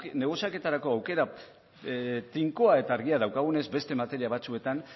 negoziaketarako aukera tinkoa eta argia daukagunez beste materia batzuetan